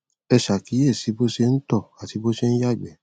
ẹ ṣàkíyèsí bó ṣe ń tọ àti bó ṣe ń yàgbẹ